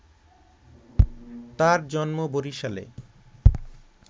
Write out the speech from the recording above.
তার জন্ম বরিশালে